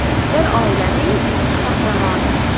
Bir oilaning ikki qahramoni.